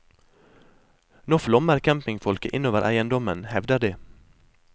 Nå flommer campingfolket inn over eiendommen, hevder de.